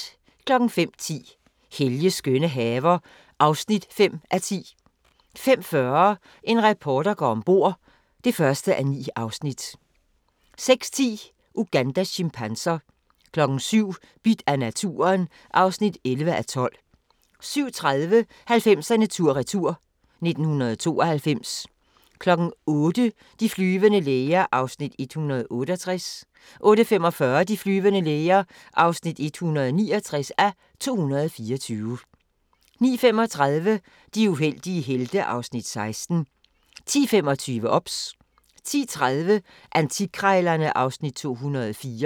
05:10: Helges skønne haver (5:10) 05:40: En reporter går om bord (1:9) 06:10: Ugandas chimpanser 07:00: Bidt af naturen (11:12) 07:30: 90'erne tur-retur: 1992 08:00: De flyvende læger (168:224) 08:45: De flyvende læger (169:224) 09:35: De uheldige helte (Afs. 16) 10:25: OBS 10:30: Antikkrejlerne (Afs. 204)